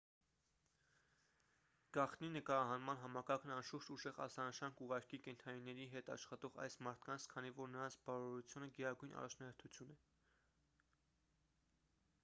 գաղտնի նկարահանման համակարգն անշուշտ ուժեղ ազդանշան կուղարկի կենդանիների հետ աշխատող այս մարդկանց քանի որ նրանց բարօրությունը գերագույն առաջնահերթություն է